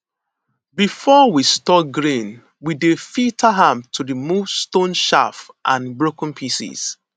before we store grain we dey filter am to remove stone chaff and broken pieces